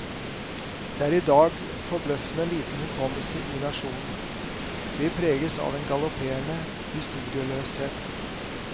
Det er i dag forbløffende liten hukommelse i nasjonen, vi preges av en galopperende historieløshet.